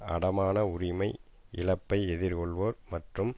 அடைமான உரிமை இழப்பை எதிர்கொள்வோர் மற்றும்